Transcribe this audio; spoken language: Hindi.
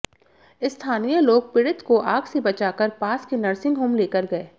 स्थानीय लोग पीड़ित को आग से बचाकर पास के नर्सिंग होम लेकर गए